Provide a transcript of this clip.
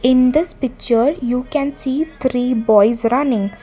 in this picture you can see three boys running.